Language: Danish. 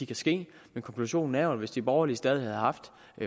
kan ske men konklusionen er jo at hvis de borgerlige stadig havde haft